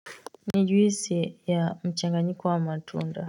Ni juisi ya mchanganyiko wa matunda.